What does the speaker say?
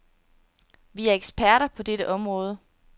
Vi er eksperter på dette område.